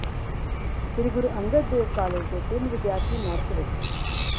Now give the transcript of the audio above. ਸ੍ਰੀ Guru Angad Dev college ਦੇ ਤਿੰਨ ਵਿੱਦਿਆਰਥੀ ਮੈਰਿਟ ਵਿਚ